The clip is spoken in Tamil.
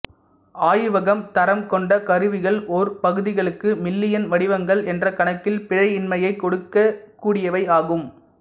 ஆயிவகம் தரம் கொண்ட கருவிகள் ஓர் பகுதிகளுக்கு மில்லியன் வடிவங்கள் என்ற கணக்கில் பிழையின்மையை கொடுக்க கூடியவை ஆகும்